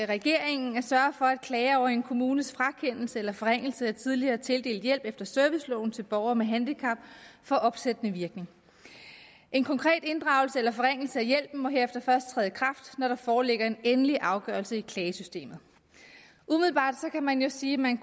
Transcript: regeringen at sørge for at klager over en kommunes frakendelse eller forringelse af tidligere tildelt hjælp efter serviceloven til borgere med handicap får opsættende virkning en konkret inddragelse eller forringelse af hjælpen må herefter først træde i kraft når der foreligger en endelig afgørelse i klagesystemet umiddelbart kan man jo sige at man